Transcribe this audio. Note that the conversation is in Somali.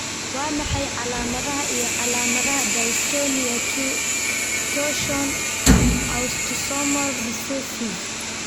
Waa maxay calaamadaha iyo calaamadaha Dystonia 2, torsion, autosomal recessive?